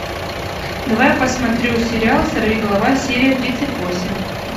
давай я посмотрю сериал сорвиголова серия тридцать восемь